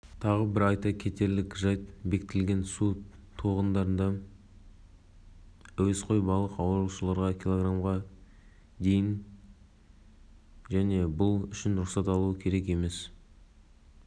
олардың мұң-мұқтажына атсалысуға шақырады өз кезегінде кейбір қолданушылар тұрғындарға тегін жолдамалар беріп жекелеген тұлғаларға балық